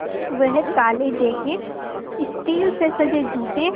वह काले jacket steel से सजे जूते